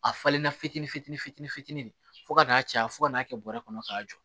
A falenna fitini fitini fitini fitini de fo ka n'a caya fo ka n'a kɛ bɔrɛ kɔnɔ k'a jɔ